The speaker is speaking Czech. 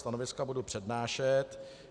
Stanoviska budu přednášet.